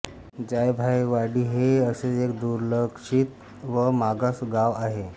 जायभायवाडी हे असेच एक दुर्लक्षित व मागास गाव आहे